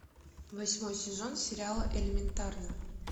восьмой сезон сериала элементарно